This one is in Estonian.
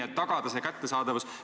Tuleb tagada ravimite kättesaadavus.